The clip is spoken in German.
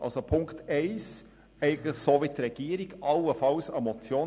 Also, Ziffer 1 unterstützen wir – wie die Regierung – allenfalls als Motion.